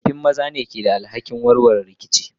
tsofaffi maza ne ke da alhakin warware rikici.